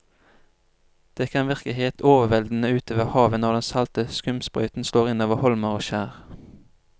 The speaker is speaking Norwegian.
Det kan virke helt overveldende ute ved havet når den salte skumsprøyten slår innover holmer og skjær.